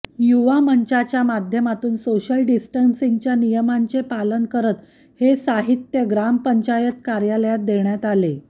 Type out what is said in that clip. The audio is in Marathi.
युवा मंचच्या माध्यमातून सोशल डिस्टन्सिंगच्या नियमांचे पालन करत हे साहित्य ग्रामपंचायत कार्यालयात देण्यात आले